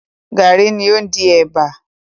Garri ni ó ń di ẹ̀bà.